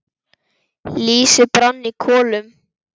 Lýsi brann í kolum.